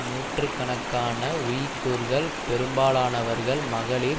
நூற்று கணக்கான உய்குர்கள் பெரும்பாலானவர்கள் மகளிர்